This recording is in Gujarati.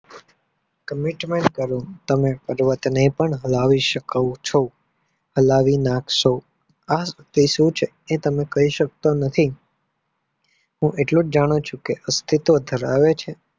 Commentment કરો કે તમે પર્વતને પણ હલાવી શકો છો. હલાવી નાખશો. આ તે સુ છે તે તમે કઈ સકતા નથી હું એટલું જાણું છુ કે અસ્તિત્વ ધરાવે છે.